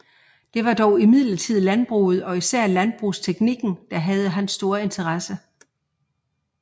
Det var dog imidlertid landbruget og især landbrugsteknikken der havde hans store interesse